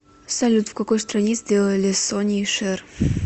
салют в какой стране сделали сонни и шэр